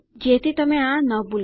જેથી તમે આ ન ભૂલો